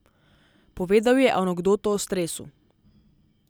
Povedal je anekdoto o stresu.